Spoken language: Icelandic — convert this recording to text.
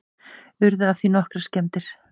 Urðu af því nokkrar skemmdir